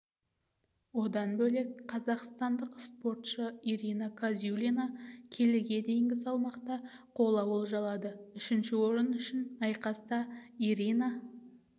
одан бөлек қазақстандық спортшы ирина казюлина келіге дейінгі салмақта қола олжалады үшінші орын үшін айқаста ирина